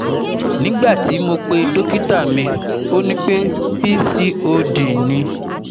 nigbati mo pe dokita mi, o ni pe PCOD ni